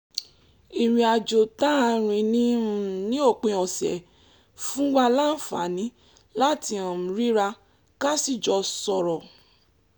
ìrìn àjò tá a rìn ní um òpin ọ̀sẹ̀ fún wa láǹfààní láti um ríra ká sì jọ sọ̀rọ̀